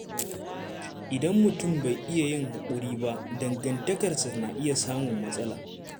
Idan mutum bai iya yin haƙuri ba, dangantakarsa na iya samun matsala.